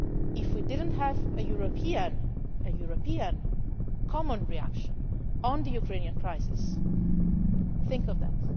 If we did not have a European common reaction on the Ukrainian crisis, think of that.